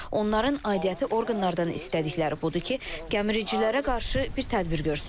Onların aidiyyəti orqanlardan istədikləri budur ki, gəmiricilərə qarşı bir tədbir görsünlər.